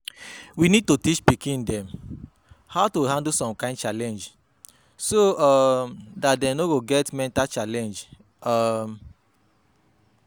We need to teach pikin dem how to handle some kind challenge, so um dat dem no go get mental challenge um